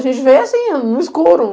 A gente veio assim, no escuro.